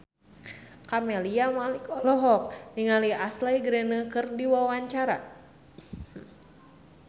Camelia Malik olohok ningali Ashley Greene keur diwawancara